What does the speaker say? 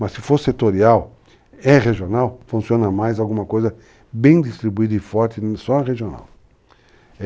Mas se for setorial, é regional, funciona mais alguma coisa bem distribuída e forte só na regional.